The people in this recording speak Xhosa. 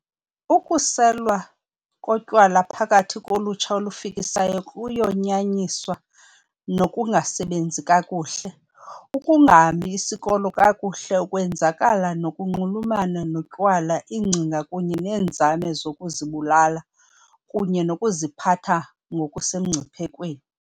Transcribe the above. Ukuselwa kotywala phakathi kolutsha olufikisayo koyanyaniswa nokungasebenzi kakuhle, ukungahambi isikolo kakuhle, ukwenzakala okunxulumene notywala, iingcinga kunye neenzame zokuzibulala, kunye nokuziphatha ngokusemngciphekweni.